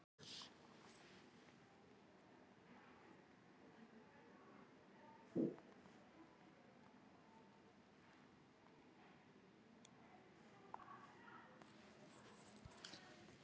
Þorir ekki að tala um það.